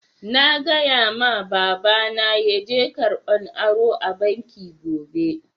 Na gaya ma baba na yaje karɓan aro a'banki gobe.